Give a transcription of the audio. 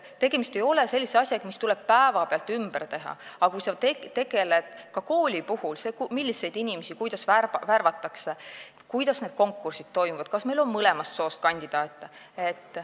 Tegemist ei ole sellise asjaga, mis tuleb päevapealt ümber teha, aga ka koolis tuleb tegelda sellega, milliseid inimesi ja kuidas värvatakse, kuidas need konkursid toimuvad, kas meil on mõlemast soost kandidaate.